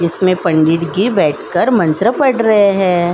इसमें पंडित जी बैठकर मंत्र पढ़ रहे है।